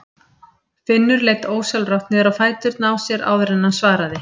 Finnur leit ósjálfrátt niður á fæturna á sér áður en hann svaraði.